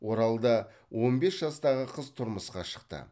оралда он бес жастағы қыз тұрмысқа шықты